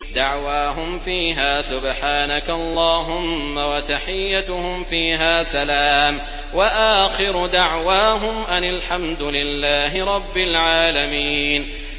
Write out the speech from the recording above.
دَعْوَاهُمْ فِيهَا سُبْحَانَكَ اللَّهُمَّ وَتَحِيَّتُهُمْ فِيهَا سَلَامٌ ۚ وَآخِرُ دَعْوَاهُمْ أَنِ الْحَمْدُ لِلَّهِ رَبِّ الْعَالَمِينَ